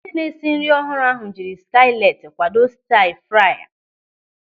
Onye na-esi nri ọhụrụ ahụ jiri skilet kwado stiia-frai.